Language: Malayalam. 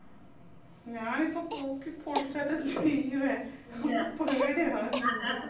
ഞാനിപ്പോ കൂക്കി പൊളിക്കുആറ്റം ചെയ്യൂവെ എനക്ക് പേടിയാവിന്നിണ്ട്